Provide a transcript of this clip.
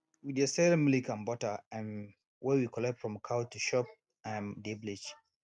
we dey sell milk and butter um wey we collect from cow to shop wey um dey village